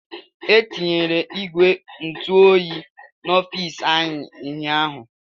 Etinyere ìgwè ntụ oyi n'ofici anyị ụnyaahụ.